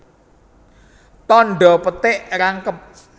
Tandha petik rangkep